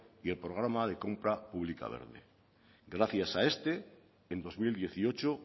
y el programa de compra pública verde gracias a este en dos mil dieciocho